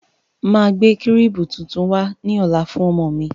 Máa gbé kírìbù tuntun wá ní ọ̀la fún ọmọ mi.